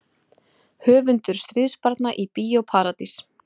Höfundur Stríðsbarna í Bíó Paradís